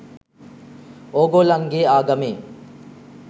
ඕගොල්ලන්ගේ ආගමේ?